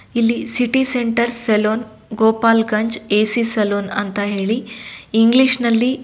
ಇಲ್ಲಿ city centre saloon Gopalganj AC saloon ಅಂತ ಹೇಳಿ ಇಂಗ್ಲಿಷ್ನಲ್ಲಿ --